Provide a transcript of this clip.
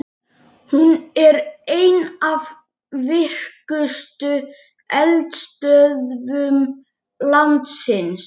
Hreinsið svínalundirnar og fjarlægið allar himnur.